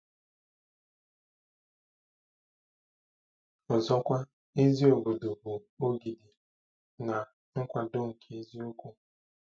Ọzọkwa, ezi obodo bụ ogidi na nkwado nke eziokwu.